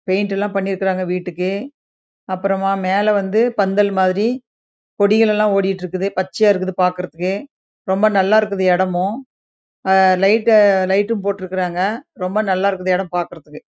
paint லாம் பனி இருக்கு அப்பறம் ஆஹ் மேலே வந்து கொடியே லாம் பச்சைய இருக்குது ரொம்ப நல்லா இருக்குது இடம் வும் லைட் வும் போட்ருக்காங்க ரொம்ப நல்லா இருக்குது இடம் பாக்கறதுக்கு